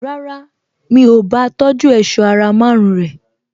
Rárá, mi ò bá a tọjú èṣọ́ ara márùn-ún rẹ̀